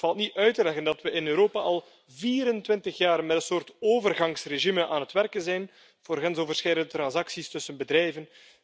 Het valt niet uit te leggen dat we in Europa al 24 jaar met een soort overgangsregime aan het werken zijn voor grensoverschrijdende transacties tussen bedrijven.